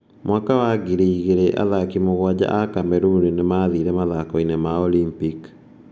Mwaka wa 2000, athaki mũgwanja a Cameroon nĩ maathire mathako-inĩ ma Olimpiki.